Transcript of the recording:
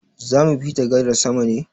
Zamu bi ta gadar sama ne?